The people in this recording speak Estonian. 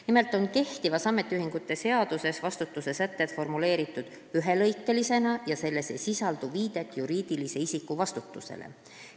Nimelt on kehtivas ametiühingute seaduses vastutuse sätted formuleeritud ühelõikelisena ja seal ei sisaldu viidet juriidilise isiku vastutusele.